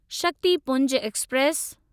Shaktipunj express